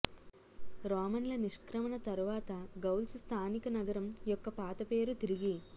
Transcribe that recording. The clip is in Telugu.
రోమన్ల నిష్క్రమణ తరువాత గౌల్స్ స్థానిక నగరం యొక్క పాత పేరు తిరిగి